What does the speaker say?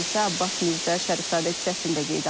Hadisə Abbas Mirzə Şərifzadə küçəsində qeydə alınıb.